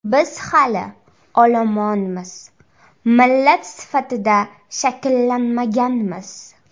Biz hali olomonmiz, millat sifatida shakllanmaganmiz.